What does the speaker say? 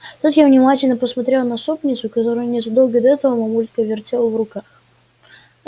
тут я внимательно посмотрела на супницу которую незадолго до этого мамулька вертела в руках